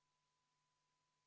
Palun võtta seisukoht ja hääletada!